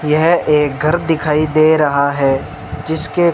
यह एक घर दिखाई दे रहा है जिसके--